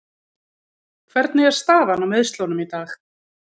Hvernig er staðan á meiðslunum í dag?